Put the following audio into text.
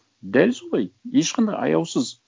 дәл солай ешқандай аяусыз